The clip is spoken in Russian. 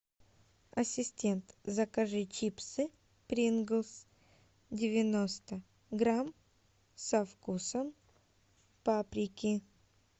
ассистент закажи чипсы принглс девяносто грамм со вкусом паприки